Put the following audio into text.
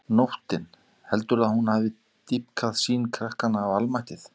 Nóttin, heldurðu að hún hafi dýpkað sýn krakkanna á almættið?